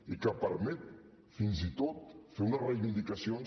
i que permet fins i tot fer unes reivindicacions